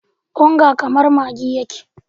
Onga kamar maggi yake.